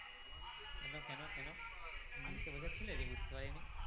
কেন কেন কেন english এ বোঝাচ্ছিলে যে বুঝতে পারোনি?